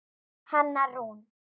Hanna Rún.